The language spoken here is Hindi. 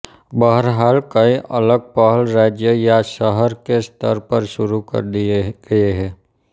बहरहाल कई अलग पहल राज्य या शहर के स्तर पर शुरू कर दिए गए है